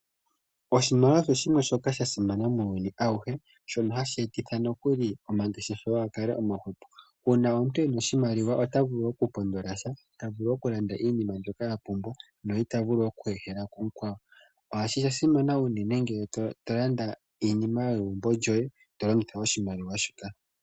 Oshimaliwa osha simana muuyuni awuhe, shono ha shi etitha nokuli omangeshefelo ga kale omahwepo. Uuna omuntu e na oshimaliwa ota vulu oku pondola sha, ta vulu oku landa iinima mbyoka a pumbwa no ita vulu oku ehela kumukwawo. Osha simana unene uuna to landa iinima yegumbo lyoye to longitha oshimaliwa shi ka.